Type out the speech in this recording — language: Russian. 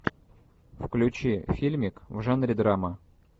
включи фильмик в жанре драма